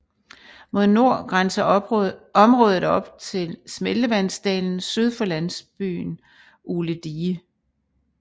Mod nord grænser området op til smeltevandsdalen syd for landsbyen Ugledige